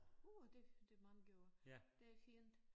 Uh det det mange år det fint